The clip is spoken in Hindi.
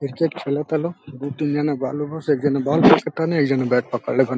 क्रिकेट खेलता लोग दू तीन जना बा लोग एक जाने बॉल फेका तान एक जाने बैट पकड़ ले बन।